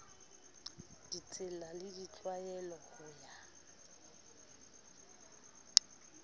ditsela le ditlwaelo ho ya